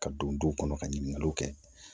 Ka don duw kɔnɔ ka ɲininkaliw kɛ